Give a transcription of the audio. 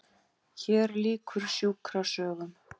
HÉR LÝKUR SJÚKRASÖGUM